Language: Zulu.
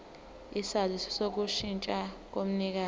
isaziso sokushintsha komnikazi